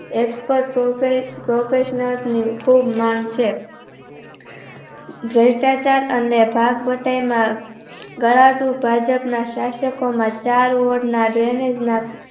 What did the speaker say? Xpert Professional ની ખુબ માંગ છે ભ્રષ્ટાચાર અને ભાગભટાયમાં ગલાધું ભાજપના શાષકોના ચાર Over ના Renage નાં